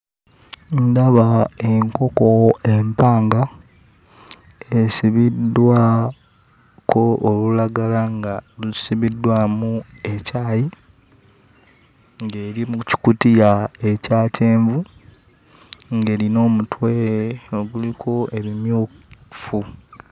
Ndaba enkoko empanga esibiddwako olulagala nga lusibiddwamu ekyayi, ng'eri mu kikutiya ekya kyenvu, ng'erina omutwe oguliko ebimyufu.